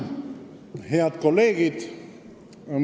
Head kolleegid!